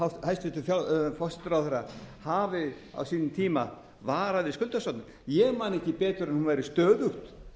að hæstvirtur forsætisráðherra hafi á sínum tíma varað við skuldasöfnun ég man ekki betur en hún væri stöðugt